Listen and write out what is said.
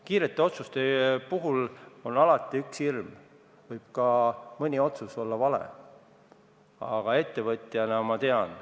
Kiirete otsuste puhul on alati hirm, et mõni otsus võib olla ka vale, aga ettevõtjana ma tean ...